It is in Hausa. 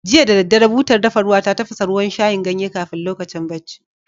Jiya da daddare, butar dafa ruwa ta tafasa ruwan shayin ganye kafin lokacin bacci.